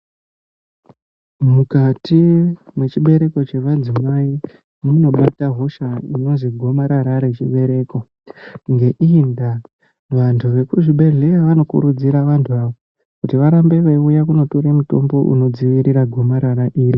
Mukati mechibereko chemadzimai munobatwa hosha gomarara rechibereko ngeiyi nda vantu vemuzvibhedhlera vanokurudzirwa vantu ava kunditora mitombo iyi inodzivirira gomarara iyi.